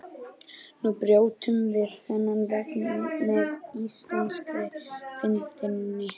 Nú brjótum við þennan vegg með íslenskri fyndni.